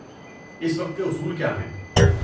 اس وقت کے اصول کیا ہیں؟